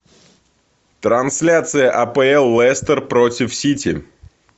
трансляция апл лестер против сити